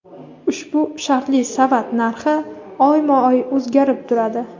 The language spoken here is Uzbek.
Ushbu shartli savat narxi oyma-oy o‘zgarib turadi.